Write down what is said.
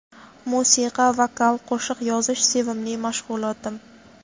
Musiqa, vokal, qo‘shiq yozish sevimli mashg‘ulotim.